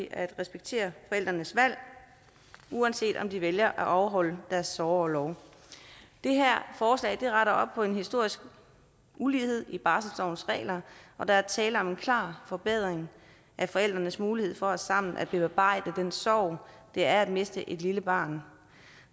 at respektere forældrenes valg uanset om de vælger at afholde deres sorgorlov det her forslag retter op på en historisk ulighed i barselslovens regler og der er tale om en klar forbedring af forældrenes mulighed for sammen at bearbejde den sorg det er at miste et lille barn